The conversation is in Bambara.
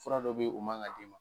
Fura dɔ be ye o man ŋa d'i ma.